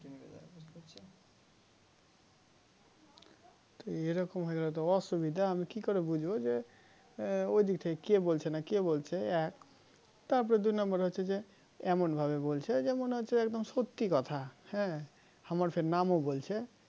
তো এই রকম হয়ে গালে তো অসুবিধা আমি কি করে বুছবো যে ও ওদিকে কে বলেছে না কে বলছে এক তার পর দুই নাম্বার হচ্ছে যে এমন ভাবে বলছে যে মনে হচ্ছে একদম সত্যি কথা হ্যাঁ আমার ফির নামও বলছে